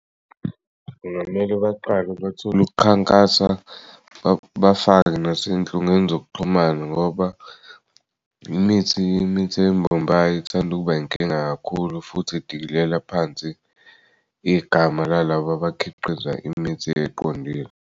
Kungamele baqale bathol'ukukhankasa bafake nasenhlungweni zokuxhumana ngoba imith'eyimbombayi ithand'ukuba inkinga kakhulu futhi idikilela phansi igama lalab'abakhiqiza imithi eqondile.